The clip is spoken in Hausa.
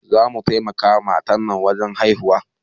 Za mu taimaka ma matan nan wajen haihuwa